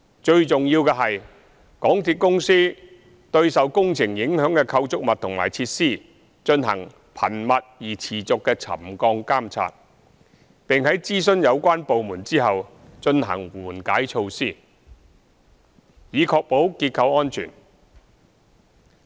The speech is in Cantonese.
最重要的是，港鐵公司對受工程影響的構築物和設施進行頻密而持續的沉降監察，並在諮詢有關部門後，進行緩解措施，以確保結構安全。